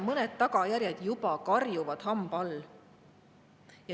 Mõned tagajärjed juba karjuvad hamba all.